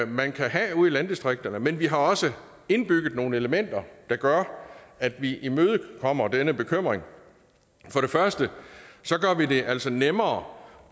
man kan have ude i landdistrikterne men vi har også indbygget nogle elementer der gør at vi imødekommer den bekymring for det første gør vi det altså nemmere